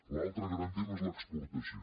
l’altre gran tema és l’exportació